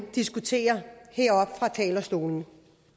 diskuterer her oppe fra talerstolen